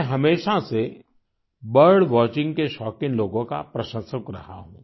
मैं हमेशा से बर्ड वॉचिंग के शौकीन लोगों का प्रशंसक रहा हूं